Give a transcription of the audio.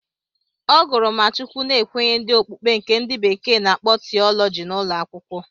Ọ gụrụ ma Chukwu na nkwenye ndị okpukpe nke ndị bekee na-akpọ tiọlọji n'ụlọ akwụkwọ.